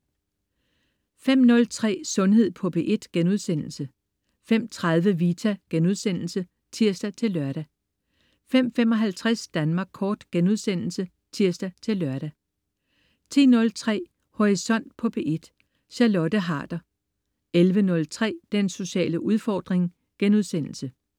05.03 Sundhed på P1* 05.30 Vita* (tirs-lør) 05.55 Danmark kort* (tirs-lør) 10.03 Horisont på P1. Charlotte Harder 11.03 Den sociale udfordring*